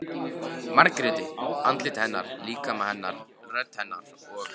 Margréti- andliti hennar, líkama hennar, rödd hennar- og